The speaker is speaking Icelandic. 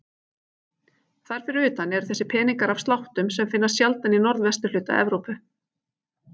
Þar fyrir utan eru þessir peningar af sláttum sem finnast sjaldan í norðvesturhluta Evrópu.